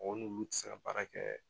Mɔgɔ n'ulu tɛ se ka baara kɛ.